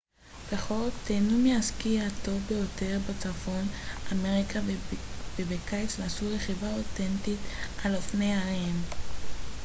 בחורף תהנו מהסקי הטוב ביותר בצפון אמריקה ובקיץ נסו רכיבה אותנטית על אופני הרים